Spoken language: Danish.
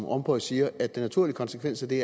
rompuy siger at den naturlige konsekvens af det